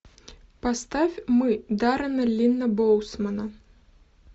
поставь мы даррена линна боусмана